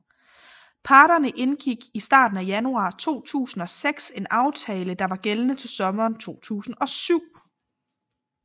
Parterne indgik i starten af januar 2006 en aftale der var gældende til sommeren 2007